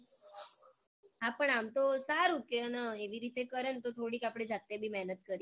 હા પણ આમ તો સારું કે હે ને એવી રીતે કરે તો થોડીક આમ આપણે જાતેબી બી મેહનત કરીએ